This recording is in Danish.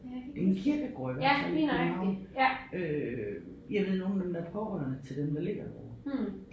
Det en kirkegård i hvert fald i København øh jeg ved nogle af dem der er pårørende til dem der ligger derovre